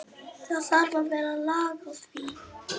Það þarf að vera lag á því.